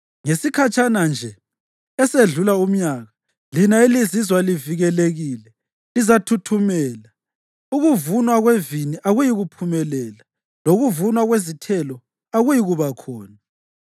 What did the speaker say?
Ngesikhatshana nje esedlula umnyaka lina elizizwa livikelekile lizathuthumela; ukuvunwa kwevini akuyikuphumelela, lokuvunwa kwezithelo akuyikuba khona.